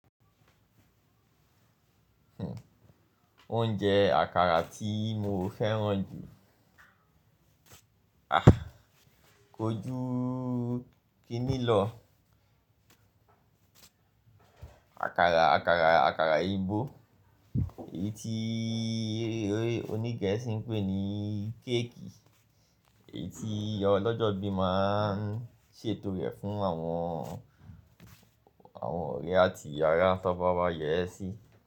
Oúnjẹ àkàrà tí mo fẹ́ràn jù, aah, ko jú kini lọ. Àkàrà, àkàrà, àkàrà Igbo, èyí tí oní Gẹ̀ẹ́sì ń pè ní kéèkì, èyí tí ọlọ́jọ́ bí máa ń ṣètò rẹ̀ fún àwọn, àwọn ọ̀rẹ́ àti àrá tí ọba bá yẹ̀ ẹ́ sí.